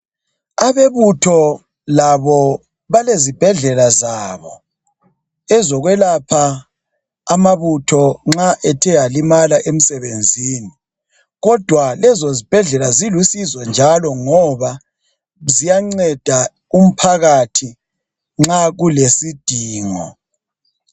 Abebutho labo balezibhedlela zabo ezokwelapha amabutho nxa ethe alimala emsebenzini kodwa lezo ezibhedlela zilusizo njalo ngoba ziyanceda umphakathi nxa kulesidingo.